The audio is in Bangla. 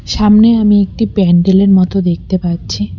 সামনে আমি একটি প্যান্ডেল -এর মতো দেখতে পাচ্ছি।